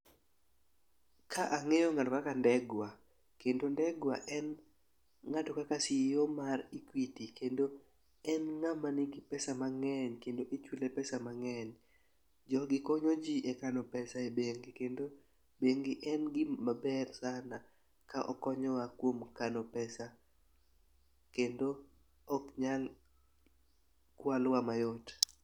Ka ang'eyo ng'ato kaka Ndegwa kendo ndegwa en ng'ato kaka CEO mar equity. Kendo en ng'ama nigi pesa mang'eny kendo ichule pesa mang'eny .Jogi konyo jii e kano pesa e bengi kendo bengi en gima ber sana ka okonyowa e kano pesa kendo ok nyal ok nyal kwalwa mayot.